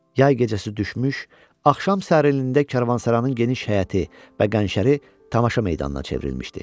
Yay gecəsi düşmüş, axşam sərinliyində Karvansaranın geniş həyəti və qənşəri tamaşa meydanına çevrilmişdi.